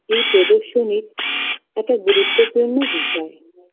এই প্রদর্শনীর একটা গুরুত্বপূর্ণ বিষয়